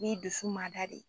N ye dusu mada de